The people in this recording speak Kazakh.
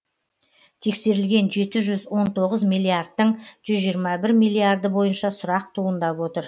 тексерілген жеті жүз он тоғыз миллиардтың жүз жиырма бір миллиарды бойынша сұрақ туындап отыр